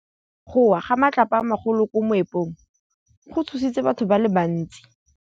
Go wa ga matlapa a magolo ko moepong go tshositse batho ba le bantsi.